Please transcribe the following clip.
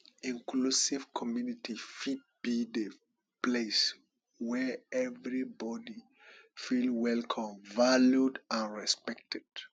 inclusive community fit be di place wey everybody feel welcome valued and respected